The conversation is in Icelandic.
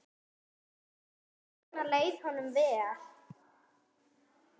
Þess vegna leið honum vel.